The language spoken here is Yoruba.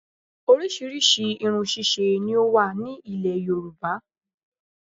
Orísìírísìí irun ṣíṣe ni ó wà ní ilẹ̀ yorùbá